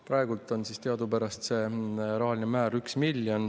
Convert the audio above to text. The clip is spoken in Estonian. " Praegu on teadupärast see rahaline määr 1 miljon.